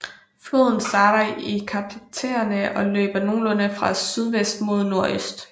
Floden starter i Karpaterne og løber nogenlunde fra sydvest mod nordøst